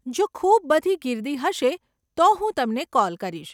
જો ખૂબ બધી ગીર્દી હશે, તો હું તમને કોલ કરીશ.